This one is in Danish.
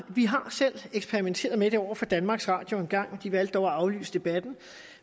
vi har selv eksperimenteret med det over for danmarks radio en gang de valgte dog at aflyse debatten